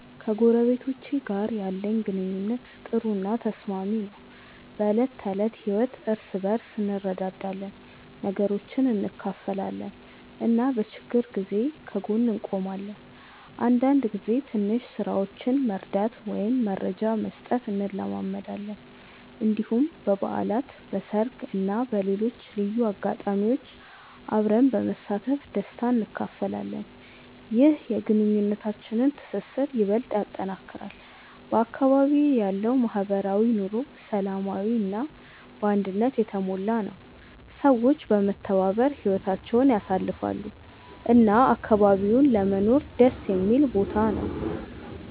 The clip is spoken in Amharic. ከጎረቤቶቼ ጋር ያለኝ ግንኙነት ጥሩ እና ተስማሚ ነው። በዕለት ተዕለት ህይወት እርስ በርስ እንረዳዳለን፣ ነገሮችን እንካፈላለን እና በችግር ጊዜ ከጎን እንቆማለን። አንዳንድ ጊዜ ትንሽ ስራዎችን መርዳት ወይም መረጃ መስጠት እንለማመዳለን። እንዲሁም በበዓላት፣ በሰርግ እና በሌሎች ልዩ አጋጣሚዎች አብረን በመሳተፍ ደስታ እንካፈላለን። ይህ የግንኙነታችንን ትስስር ይበልጥ ያጠናክራል። በአካባቢዬ ያለው ማህበራዊ ኑሮ ሰላማዊ እና አንድነት የተሞላ ነው፤ ሰዎች በመተባበር ህይወታቸውን ያሳልፋሉ እና አካባቢው ለመኖር ደስ የሚል ቦታ ነው።